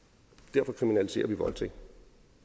derfor kriminaliserer vi voldtægt